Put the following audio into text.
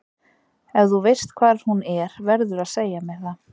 Ef þú veist hvar hún er verðurðu að segja mér það.